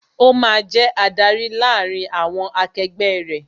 Ó máa jẹ adarí láàárín àwọn akegbẹ́ rẹ